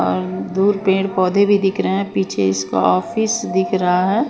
और दूर पेड़ पौधे भी दिख रहे पीछे इसका ऑफिस दिख रहा है।